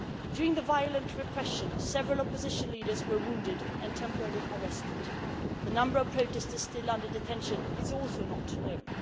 During the violent repression, several opposition leaders were wounded and temporarily arrested. The number of protestors still under detention is also unknown